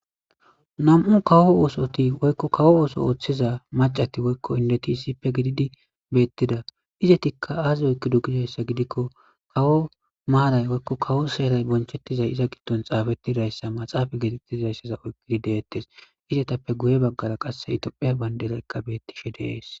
nam7u kawo oosoti woykko kawo ooso ooththiza macati woykko indeti isippe gididi beettida izetikka aazi oykido gidayssa gidikko kawo maaray woykko kawo seeray bonchettizay iza giddon xaabettiddayssa maxaafa geetettizayssaza oygidi deettes izetappe guye baggara qasse itophe bayndereqqa bettishe dees